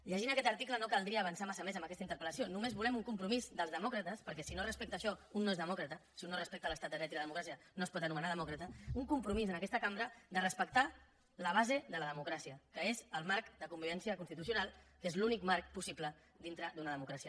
llegint aquest article no caldria avançar massa més en aquesta interpel·lació només volem un compromís dels demòcrates perquè si no es respecta això un no és demòcrata si un no respecta l’estat de dret i la democràcia no es pot anomenar demòcrata un compromís en aquesta cambra de respectar la base de la democràcia que és el marc de convivència constitucional que és l’únic marc possible dintre d’una democràcia